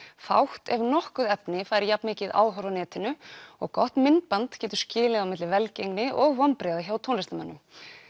fátt ef nokkuð efni fær jafn mikið áhorf á netinu og gott myndband getur skilið á milli velgengni og vonbrigða hjá tónlistarmönnum